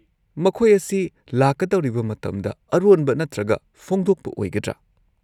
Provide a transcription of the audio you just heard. -ꯃꯈꯣꯏ ꯑꯁꯤ ꯂꯥꯛꯀꯗꯧꯔꯤꯕ ꯃꯇꯝꯗ ꯑꯔꯣꯟꯕ ꯅꯠꯇ꯭ꯔꯒ ꯐꯣꯡꯗꯣꯛꯄ ꯑꯣꯏꯒꯗ꯭ꯔꯥ?